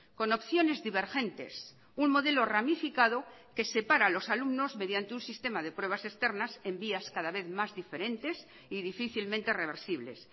con opciones divergentes un modelo ramificado que separa a los alumnos mediante un sistema de pruebas externas en vías cada vez más diferentes y difícilmente reversibles